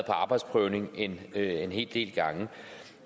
arbejdsprøvning en hel del gange